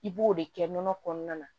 I b'o de kɛ nɔnɔ kɔnɔna na